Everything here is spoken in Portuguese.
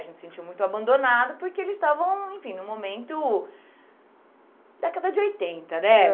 A gente sentiu muito abandonado, porque eles estavam, enfim, num momento... Década de oitenta, né?